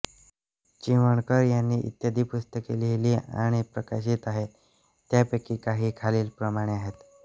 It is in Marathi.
चिमणकर यांनी इत्यादी पुस्तके लिहिली आणि प्रकाशित आहेत त्यापैकी काही खालीलप्रमाणे आहेत